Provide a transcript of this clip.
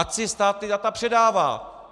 Ať si stát ta data předává.